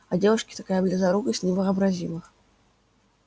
а девушке такая близорукость невообразима